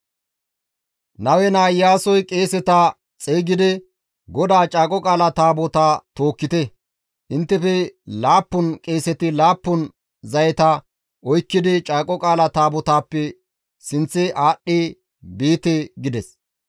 Nawe naa Iyaasoy qeeseta xeygidi, «GODAA Caaqo Qaala Taabotaa tookkite; inttefe laappun qeeseti laappun zayeta oykkidi Caaqo Qaala Taabotaappe sinththe aadhdhi biite» gides.